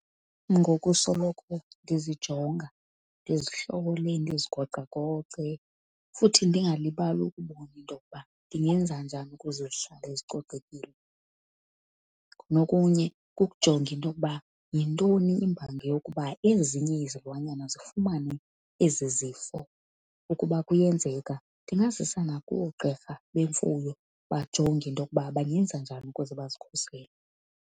Ngokusoloko ndizijonga ndizigocagoce futhi ndingalibali ukubona into yokuba ndingenza njani ukuze zihlale zicocekile. Nokunye kukujonga into yokuba yintoni imbangi yokuba ezinye izilwanyana zifumane ezi zifo, ukuba kuyenzeka ndingazisa nakoogqirha bemfuyo bajonge into yokuba bangenza njani ukuze bazikhusele.